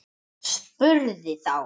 Spurði þá